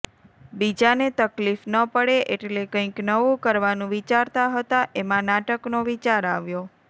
બીજાને તકલીફ ન પડે એટલે કંઈક નવું કરવાનું વિચારતા હતા એમાં નાટકનો વિચાર આવ્યો